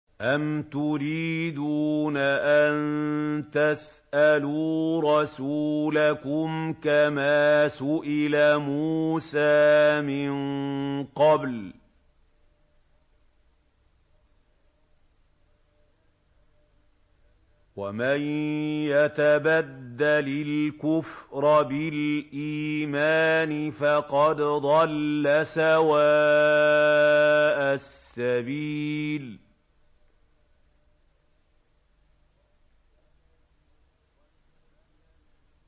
أَمْ تُرِيدُونَ أَن تَسْأَلُوا رَسُولَكُمْ كَمَا سُئِلَ مُوسَىٰ مِن قَبْلُ ۗ وَمَن يَتَبَدَّلِ الْكُفْرَ بِالْإِيمَانِ فَقَدْ ضَلَّ سَوَاءَ السَّبِيلِ